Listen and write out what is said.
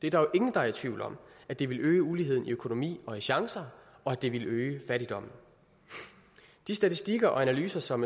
er jo ingen der er i tvivl om at det ville øge uligheden i økonomi og chancer og at det ville øge fattigdommen de statistikker og analyser som